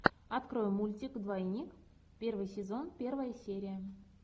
открой мультик двойник первый сезон первая серия